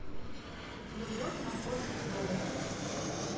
любовь находит дом